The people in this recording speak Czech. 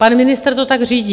Pan ministr to tak řídí.